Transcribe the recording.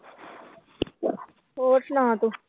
ਹੋਰ ਸੁਣਾ ਤੂੰ